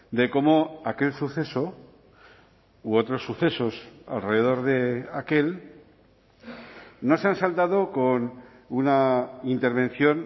de cómo aquel suceso u otros sucesos alrededor de aquel no se han saldado con una intervención